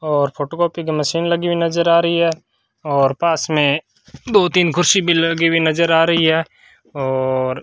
और फोटोकॉपी का मशीन लगी नजर आ रही है और पास में दो तीन कुर्सी भी लगी हुई नजर आ रही है और --